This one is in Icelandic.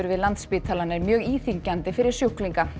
við Landspítalann er mjög íþyngjandi fyrir sjúklinga